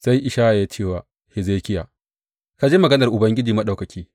Sai Ishaya ya ce wa Hezekiya, Ka ji maganar Ubangiji Maɗaukaki.